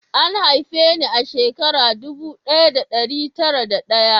An haife ni a shekara ɗubu ɗaya da ɗari tara da ɗaya